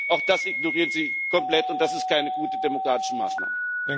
Auch das ignorieren Sie komplett, und das ist keine gute demokratische Maßnahme.